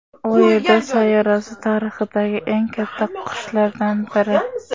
U Yer sayyorasi tarixidagi eng katta qushlardan biri.